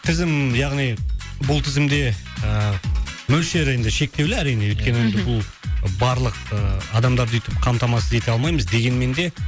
тізім яғни бұл тізімде ііі мөлшері енді шектеулі әрине өйткені енді бұл барлық ы адамдарды үйтіп қамтамасыз ете алмаймыз дегенмен де